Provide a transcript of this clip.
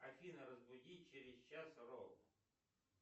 афина разбуди через час ровно